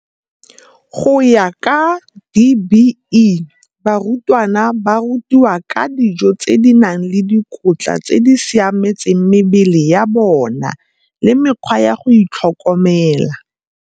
Go ya ka DBE, barutwana ba rutiwa ka dijo tse di nang le dikotla tse di siametseng mebele ya bona le mekgwa ya go itlhokomela.